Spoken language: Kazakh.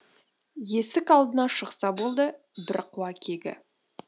есік алдына шықса болды бірі қуа кегі